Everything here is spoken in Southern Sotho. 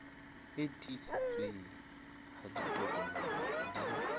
e tiiseditsweng ha ditokomane di